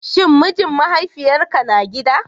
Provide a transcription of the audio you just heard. Shin mijin mahaifiyarka na gida?